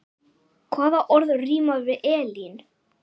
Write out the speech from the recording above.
Hvaða orð rímar við Elín?